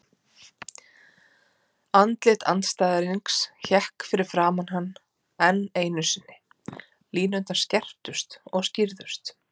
Andlit andstæðingsins hékk fyrir framan hann enn einu sinni, línurnar skerptust og skýrðust.